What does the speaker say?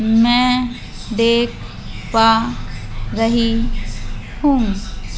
मैं देख पा रही हूं।